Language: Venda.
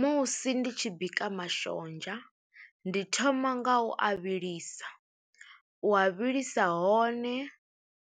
Musi ndi tshi bika mashonzha ndi thoma nga u a vhilisa u a vhilisa hone